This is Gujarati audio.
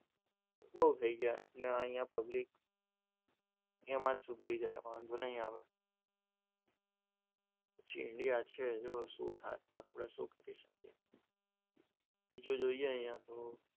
બહુ થઈ ગયા અહીંયા પબ્લિક, એમ જ સુધરી જાય વાંધો નહીં આવે ઇન્ડિયા છે શું થાય આપણે શું કરી શકીએ બીજો જોઈએ અહીંયા તો,